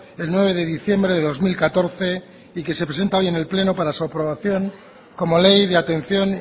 el nueve de diciembre de dos mil catorce y que se presenta hoy en el pleno para su aprobación como ley de atención